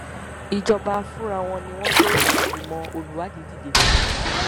ìjọba fúnra wọn ni wọn gbé ìgbìmọ olùwádìí dìde